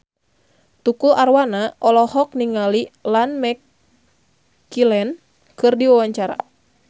Tukul Arwana olohok ningali Ian McKellen keur diwawancara